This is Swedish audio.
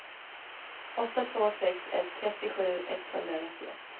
åtta två sex ett trettiosju etthundranittioett